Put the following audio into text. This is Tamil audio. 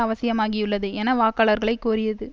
அவசியமாகியுள்ளது என வாக்காளர்களைக் கோரியது